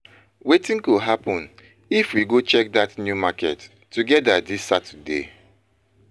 Wetin go happun if we go check dat new market together dis Saturday?